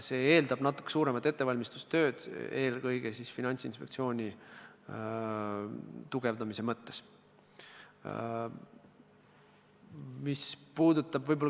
See eeldab natuke põhjalikumat ettevalmistustööd, eelkõige Finantsinspektsiooni tugevdamise mõttes.